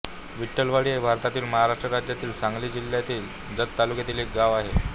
विठलवाडी हे भारतातील महाराष्ट्र राज्यातील सांगली जिल्ह्यातील जत तालुक्यातील एक गाव आहे